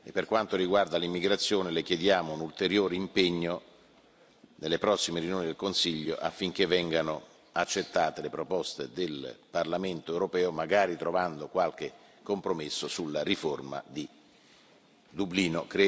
Per quanto riguarda l'immigrazione, le chiediamo un ulteriore impegno, nelle prossime riunioni del Consiglio, affinché vengano accettate le proposte del Parlamento europeo, magari trovando qualche compromesso sulla riforma di Dublino.